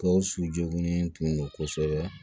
Gawusu joginnen tun don kosɛbɛ